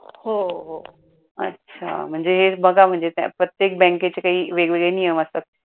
अच्छा म्हणजे बघा म्हणजे प्रत्येक बँकेचे काही वेग वेगळे नियम असतात.